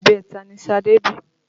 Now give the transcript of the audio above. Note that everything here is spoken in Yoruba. Ibẹta ni Ṣadé bí